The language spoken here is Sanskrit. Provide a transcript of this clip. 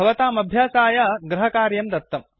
भवताम् अभ्यासाय गृहकार्यं दत्तम्